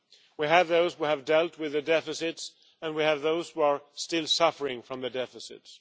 We have those who have dealt with the deficits, and we have those who are still suffering from the deficits.